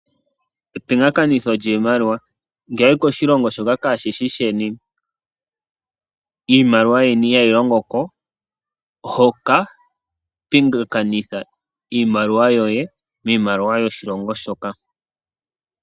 Ngele owayi koshilongo shilwe iimaliwa yeni ihayi longoko, oho ka pingakanitha iimaliwa yoye miimaliwa yoshilongo shoka.